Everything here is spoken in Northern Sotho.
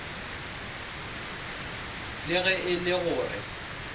le ge e le gore